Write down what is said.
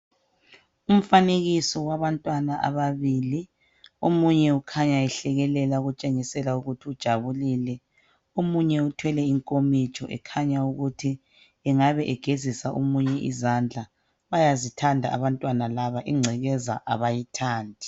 Umfanekiso wabantwana ababili. Omunye ukhanya ehlekelela okutshengisela ukuthi ujabulile. Omunye uthwele inkomitsho ekhanya ukuthi engabe egezisa omunye izandla. Bayazithanda abantwana laba. Ingcekeza abayithandi.